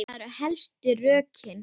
Það eru helstu rökin.